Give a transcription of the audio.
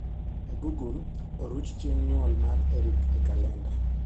e google oruch chieng nyuol mar eric e kalenda